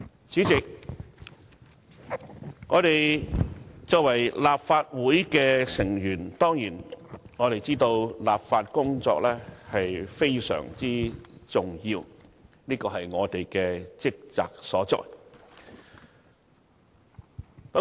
主席，我們作為立法會議員，當然知道立法工作非常重要，這是我們的職責所在。